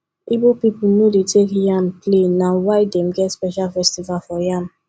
igbo pipo no dey take yam play na why dem get special festival for yam